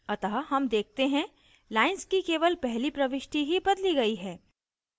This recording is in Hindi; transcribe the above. अतः हम देखते हैं lines की केवल पहली प्रविष्टि ही बदली गयी है